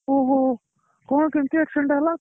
ଓହୋ କଣ କେମିତି accident ଟା ହେଲା